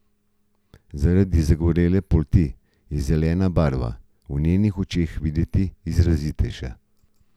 Zaradi zagorele polti je zelena barva v njenih očeh videti izrazitejša.